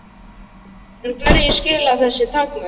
En hverju skila þessu takmörk?